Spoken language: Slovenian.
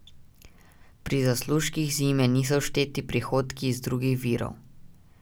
Pri zaslužkih zime niso všteti prihodki iz drugih virov.